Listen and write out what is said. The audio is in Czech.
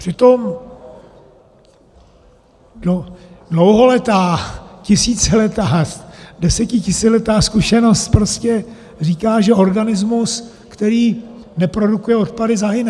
Přitom dlouholetá, tisíciletá, desetitisíciletá zkušenost prostě říká, že organismus, který neprodukuje odpady, zahyne.